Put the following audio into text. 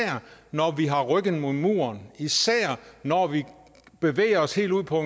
når vi har ryggen mod muren og især når vi bevæger os helt ude på